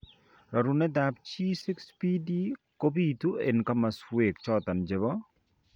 Rorunetab G6PD kobitu en kamaswek choton chebo